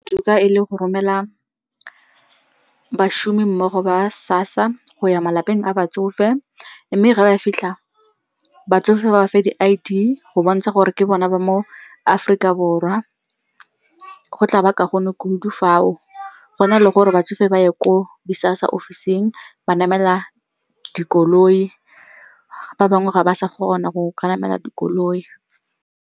Toka e le go romela bašomi mmogo ba SASSA go ya malapeng a batsofe. Mme ge ba fitlha batsofe ba ba fe di-I_D go bontsha gore ke bona ba mo Aforika Borwa. Go tla ba kaone kudu fao, go na le gore batsofe ba ye ko di-SASSA ofising ba namela dikoloi, ba bangwe ga ba sa kgona go ka namela dikoloi.